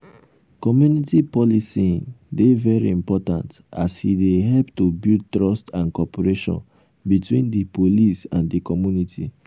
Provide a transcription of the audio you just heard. community policing dey very important as e dey help to build trust and cooperation between di police and di community.